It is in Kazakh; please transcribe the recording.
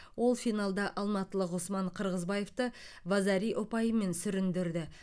ол финалда алматылық ғұсман қырғызбаевты вазари ұпайымен сүріндірді